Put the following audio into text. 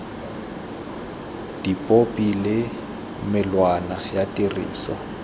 dipopi le melawana ya tiriso